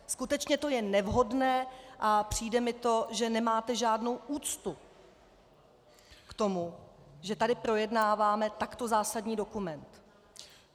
Skutečně to je nevhodné a přijde mi to, že nemáte žádnou úctu k tomu, že tady projednáváme takto zásadní dokument.